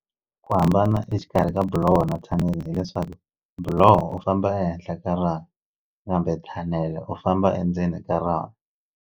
Ku hambana exikarhi ka buloho na thanele hileswaku buloho u famba ehenhla ka raha kambe thanele u famba endzeni ka rona.